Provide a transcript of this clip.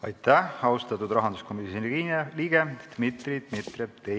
Aitäh, austatud rahanduskomisjoni liige Dmitri Dmitrijev!